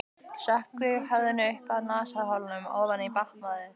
Sökkvi höfðinu upp að nasaholum ofan í baðvatnið.